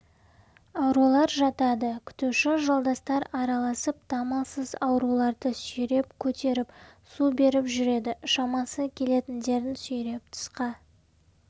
аурулар жатады күтуші жолдастар аралап дамылсыз ауруларды сүйреп көтеріп су беріп жүреді шамасы келетіндерін сүйреп тысқа